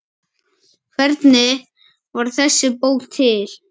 Hvernig varð þessi bók til?